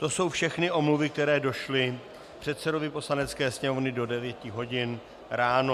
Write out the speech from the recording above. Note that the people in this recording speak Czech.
To jsou všechny omluvy, které došly předsedovi Poslanecké sněmovny do 9 hodin ráno.